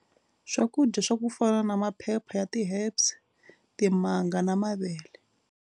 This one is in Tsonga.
Swakudya swa ku fana na maphepha ya ti-herbs, timanga na mavele.